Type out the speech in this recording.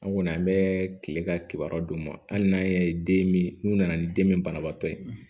An kɔni an bɛ kile ka kibaruya d'u ma hali n'an y'a ye den min n'u nana ni den min banabaatɔ ye